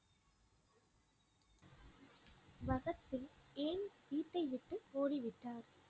பகத் சிங் ஏன் வீட்டை விட்டு ஓடிவிட்டார்?